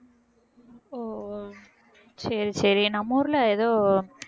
ஓ சரி சரி நம்ம ஊர்ல எதோ